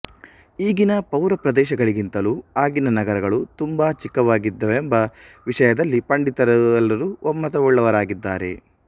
ಈಗಿನ ಪೌರಪ್ರದೇಶಗಳಿಗಿಂತಲೂ ಆಗಿನ ನಗರಗಳು ತುಂಬ ಚಿಕ್ಕವಾಗಿದ್ದವೆಂಬ ವಿಷಯದಲ್ಲಿ ಪಂಡಿತರೆಲ್ಲರೂ ಒಮ್ಮತವುಳ್ಳವರಾಗಿದ್ದಾರೆ